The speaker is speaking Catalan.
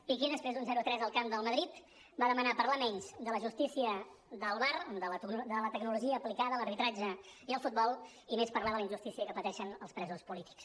piqué després d’un zero a tres al camp del madrid va demanar parlar menys de la justícia del var de la tecnologia aplicada a l’arbitratge i al futbol i més parlar de la injustícia que pateixen els presos polítics